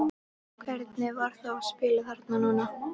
Hvernig var þá að spila þarna núna?